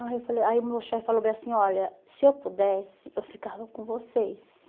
ai eu falei Aí o meu chefe falou bem assim, olha, se eu pudesse, eu ficava com vocês.